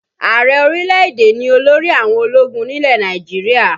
Ààrẹ orílẹ̀-èdè ni olórí àwọn ológun nílẹ̀ Nàìjíríà